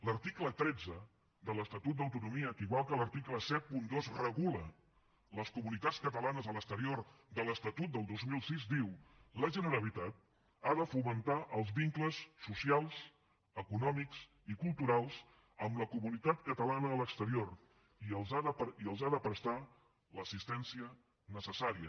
l’article tretze de l’estat d’autonomia que igual que l’article setanta dos regula les comunitats catalanes a l’exterior de l’estatut del dos mil sis diu la generalitat ha de fomentar els vincles socials econòmics i culturals amb la comunitat catalana a l’exterior i els ha de prestar l’assistència necessària